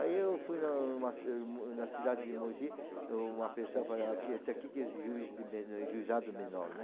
Aí eu fui numa ci eh num numa cidade de Mogi, uma pessoa falou, esse aqui que é o juizado menor, né.